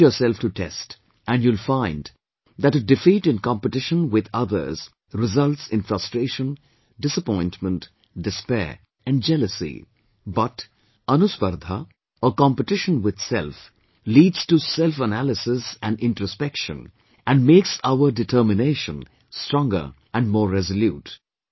Put yourself to test, and you'll find that a defeat in competition with others results in frustration, disappointment, despair and jealousy, but 'Anuspardha' or 'competition with self' leads to selfanalysis and introspection and makes our determination stronger and more resolute